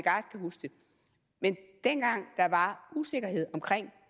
men dengang der var usikkerhed omkring